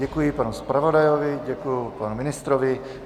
Děkuji panu zpravodaji, děkuji panu ministrovi.